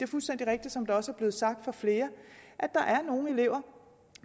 fuldstændig rigtigt som det også er blevet sagt af flere at der er nogle elever